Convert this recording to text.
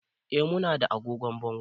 Eh, mu na da agogon bango